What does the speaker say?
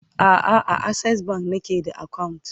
a'a a akses bank nake da akawunt